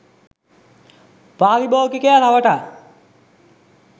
පාරිභෝගිකයා රවටා